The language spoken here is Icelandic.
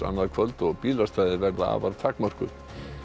annað kvöld og bílastæði afar takmörkuð